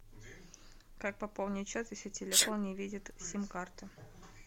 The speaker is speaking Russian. как пополнить счет если телефон не видит сим карту